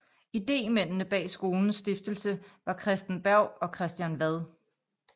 Idémændene bag skolens stiftelse var Christen Berg og Christian Wad